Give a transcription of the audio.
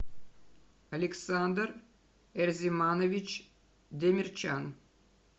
александр эрзиманович демирчан